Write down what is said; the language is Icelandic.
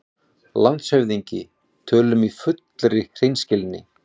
LANDSHÖFÐINGI: Tölum í fullri hreinskilni